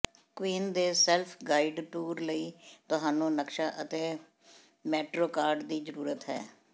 Queen ਦੇ self guide tour ਲਈ ਤੁਹਾਨੂੰ ਨਕਸ਼ਾ ਅਤੇ ਮੈਟਰੋ ਕਾਰਡ ਦੀ ਜ਼ਰੂਰਤ ਹੈ